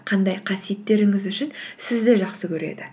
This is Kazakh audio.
қандай қасиеттеріңіз үшін сізді жақсы көреді